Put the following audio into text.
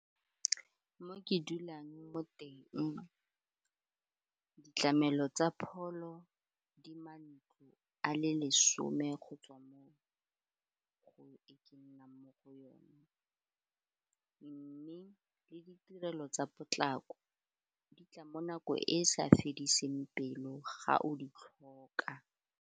Mo ke dulang mo teng ditlamelo tsa pholo a le lesome go tswa mo go e ke nnang mo go yone mme le ditirelo tsa potlako di tla mo nakong e e sa fediseng pelo ga o di tlhoka.